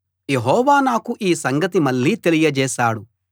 యెహోవా నాకు ఈ సంగతి మళ్ళీ తెలియజేశాడు